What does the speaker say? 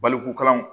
Balikukalanw